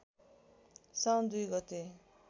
साउन २ गते